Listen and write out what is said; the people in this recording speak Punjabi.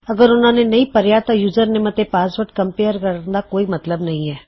ਅਗਰ ਉਹਨਾ ਨੇ ਨਹੀ ਭਰੀਆ ਤਾਂ ਯੁਜਰਨੇਮ ਅਤੇ ਪਾਸਵਰਡ ਕੰਮਪੇਰ ਕਰਨ ਦਾ ਕੋਈ ਮਤਲੱਬ ਨਹੀ ਹੈ